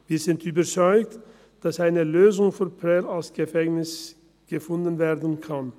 Wir sind überzeugt, dass eine Lösung für Prêles als Gefängnis gefunden werden kann.